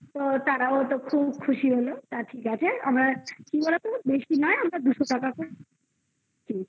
তো তারাও তো খুব খুশি হলো ঠিক আছে আমরা কি বলতো? বেশি নয় আমরা দুশো টাকা করে দিয়েছি